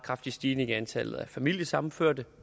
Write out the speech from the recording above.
kraftig stigning i antallet af familiesammenførte